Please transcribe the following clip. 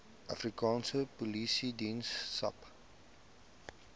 afrikaanse polisiediens sapd